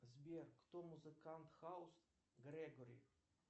сбер кто музыкант хаус грегори